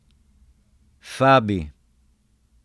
Fabi.